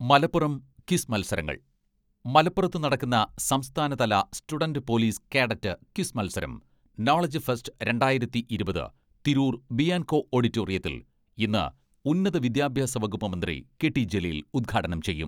Malappuram, quiz മത്സരങ്ങൾ, മലപ്പുറത്ത് നടക്കുന്ന സംസ്ഥാന തല സ്റ്റുഡന്റ് പൊലീസ് കേഡറ്റ് ക്വിസ് മത്സരം 'നോളജ് ഫെസ്റ്റ് രണ്ടായിരത്തി ഇരുപത്' തിരൂർ ബിയാൻകോ ഓഡിറ്റോറിയത്തിൽ ഇന്ന് ഉന്നത വിദ്യാഭ്യാസ വകുപ്പ് മന്ത്രി കെ.ടി ജലീൽ ഉദ്ഘാടനം ചെയ്യും.